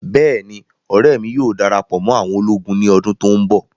Bẹ́ẹ̀ni, ọrẹ mi yóò darapọ mọ àwọn ologun ni ọdun to nbọ